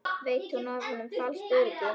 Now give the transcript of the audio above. Veitti hún honum falskt öryggi?